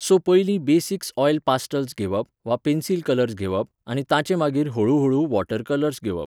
So पयलीं basics oil pastels घेवप वा पेन्सिल कलर्स घेवप आनी तांचे मागीर हळू हळू वॉटर कलर्स घेवप.